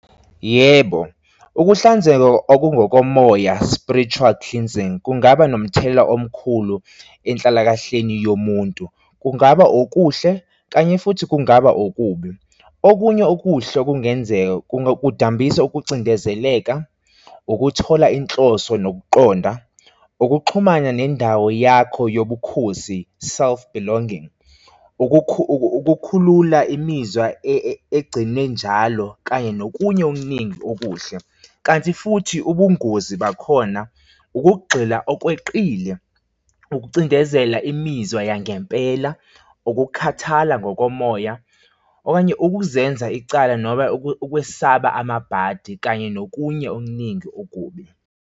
Yebo, ukuhlanzeka okungokomoya spritual cleansing, kungaba nomthelela omkhulu enhlalakahleni yomuntu, kungaba okuhle kanye futhi kungaba okubi. Okunye okuhle okungenzeka, kudambisa ukucindezeleka, ukuthola inhloso nokuqonda, ukuxhumana nendawo yakho yobukhosi, self belonging, ukukhulula imizwa egcine njalo kanye nokunye okuningi okuhle. Kanti futhi ubungozi bakhona ukugxila okweqile ukucindezela imizwa yangempela, ukukhathala ngokomoya okanye ukuzenza icala noma ukwesaba amabhadi kanye nokunye okuningi okubi.